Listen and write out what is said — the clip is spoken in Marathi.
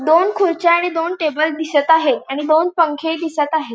दोन खुर्च्या आणि दोन टेबल दिसत आहे आणि दोन पंखे दिसत आहेत.